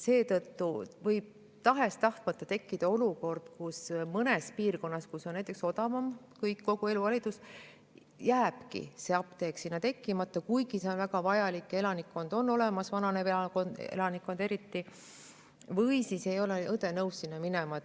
Seetõttu võib tahes-tahtmata tekkida olukord, kus mõnda piirkonda, kus on näiteks kõik odavam, kogu elu, jääbki apteek tekkimata, kuigi see oleks väga vajalik ja elanikkond on seal olemas – eriti vananev elanikkond –, või siis ei ole õde nõus sinna minema.